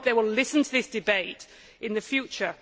I hope they will listen to this debate in the future.